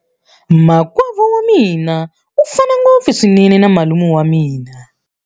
Makwavo wa mina u fana ngopfu swinene na malume wa mina.